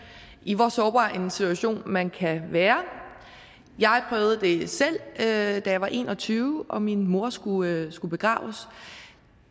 i hvor sårbar en situation man kan være jeg prøvede det selv da jeg var en og tyve og min mor skulle skulle begraves